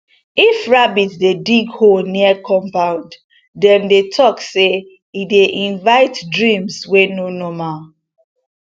if rabbit dey dig hole near compound dem dey talk say e dey invite dreams wey no normal